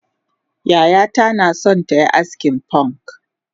Yayata naso tayi askin fonk